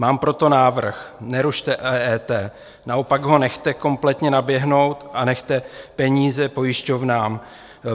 Mám proto návrh: Nerušte EET, naopak ho nechte kompletně naběhnout a nechte peníze pojišťovnám.